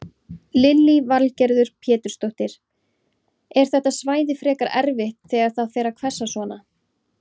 Lillý Valgerður Pétursdóttir: Er þetta svæði frekar erfitt þegar það fer að hvessa svona?